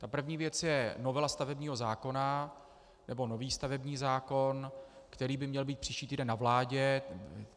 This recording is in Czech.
Ta první věc je novela stavebního zákona nebo nový stavební zákon, který by měl být příští týden ve vládě.